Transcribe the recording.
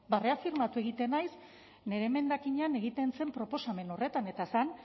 ba reafirmatu egiten naiz nire emendakinean egiten zen proposamen horretan eta zen